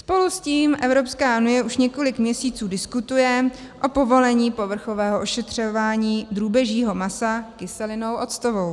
Spolu s tím Evropská unie už několik měsíců diskutuje o povolení povrchového ošetřování drůbežího masa kyselinou octovou.